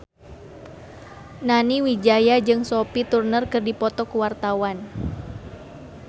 Nani Wijaya jeung Sophie Turner keur dipoto ku wartawan